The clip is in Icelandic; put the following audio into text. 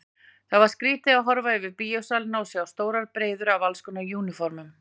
Það var skrýtið að horfa yfir bíósalina og sjá stórar breiður af allskonar úniformum.